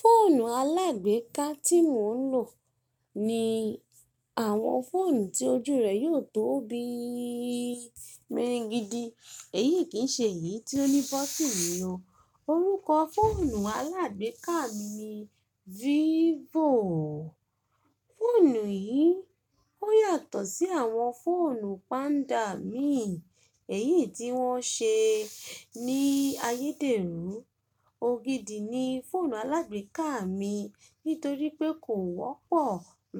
Fóònù alágbèéká tí mò ń lò ni àwọn fóònù tí ojú rẹ̀ yóò tó bí i miringidi. Èyí kì í ṣe èyí tí ó ní bọ́tinì o. Orúkọ fóònù alágbèéká mi ni Vivo. Fóònù yìí ó yàtọ̀ sí àwọn fóònù Panda mi èyí tí wọ́n ṣe ní ayédèrú. Ògidì ni fóònù alágbèéká mi nítorí pé kò wọ́pọ̀